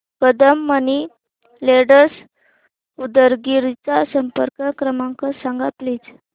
Kadam money lenders Udgir चा संपर्क क्रमांक सांग प्लीज